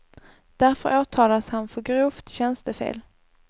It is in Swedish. Därför åtalas han för grovt tjänstefel.